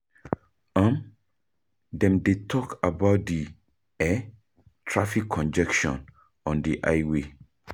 Dem dey talk about di traffic congestion on di highway